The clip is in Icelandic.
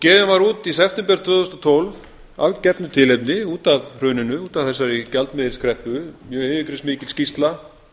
gefin var út í september tvö þúsund og tólf af gefnu tilefni út af hruninu út af þessari gjaldmiðilskreppu mjög yfirgripsmikil skýrsla